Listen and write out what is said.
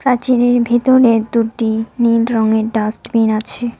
প্রাচীরের ভেতরে দুটি নীল রঙের ডাস্টবিন আছে।